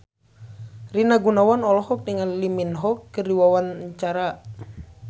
Rina Gunawan olohok ningali Lee Min Ho keur diwawancara